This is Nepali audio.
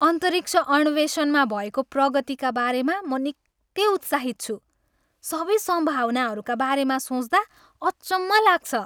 अन्तरिक्ष अन्वेषणमा भएको प्रगतिका बारेमा म निकै उत्साहित छु! सबै सम्भावनाहरूका बारेमा सोच्दा अचम्म लाग्छ।